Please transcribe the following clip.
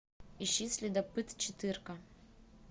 ищи следопыт четырка